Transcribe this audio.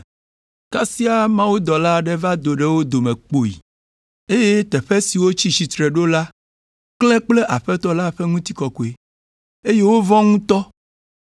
Kasia mawudɔla aɖe va do ɖe wo dome kpoyii, eye teƒe si wotsi tsitre ɖo la klẽ kple Aƒetɔ la ƒe ŋutikɔkɔe, eye wovɔ̃ ŋutɔ,